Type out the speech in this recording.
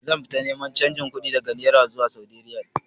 Zan fita neman canji kuɗi daga naira zuwa saudi riyal